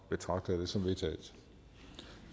betragter jeg det som vedtaget